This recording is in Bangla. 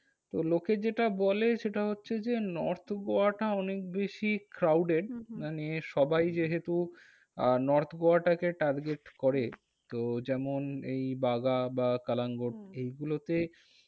তো লোকে যেটা বলে সেটা হচ্ছে যে, north গোয়াটা অনেক বেশি crowded হম মানে সবাই যেহেতু আহ north গোয়াটাকে target করে। হম তো যেমন এই বাগা বা কালাঙ্গুর হ্যাঁ এইগুলোতে